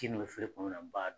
Ji min bɛ feere kɔnɔna na n b'a